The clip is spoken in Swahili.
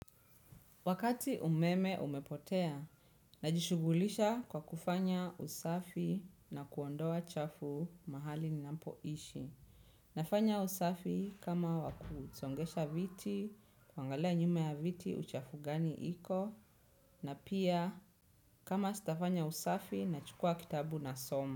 Wakati umeme umepotea, najishugulisha kwa kufanya usafi na kuondoa chafu mahali ninampo ishi. Nafanya usafi kama wakusongesha viti, kwangalea nyumea viti uchafu gani iko, na pia kama sitafanya usafi nachukua kitabu na soma.